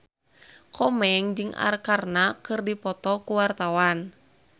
Komeng jeung Arkarna keur dipoto ku wartawan